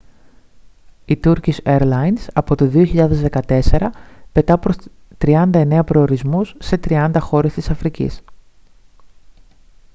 η turkish airlines από το 2014 πετά προς 39 προορισμούς σε 30 χώρες της αφρικής